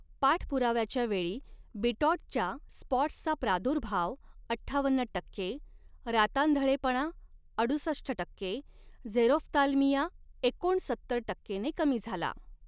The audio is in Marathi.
पाठपुराव्याच्या वेळी बिटॉटच्या स्पॉट्सचा प्रादुर्भाव अठ्ठावन्न टक्के, रातांधळेपणा अडुसष्ट टक्के, झेरोफ्थाल्मिया एकोणसत्तर टक्केने कमी झाला.